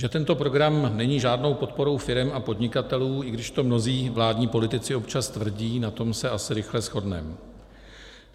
Že tento program není žádnou podporou firem a podnikatelů, i když to mnozí vládní politici občas tvrdí, na tom se asi rychle shodneme.